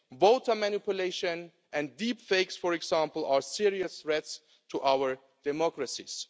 Voter manipulation and deepfakes, for example, are serious threats to our democracies.